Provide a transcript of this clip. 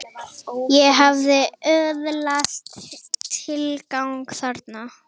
Ég hafði öðlast tilgang þarna.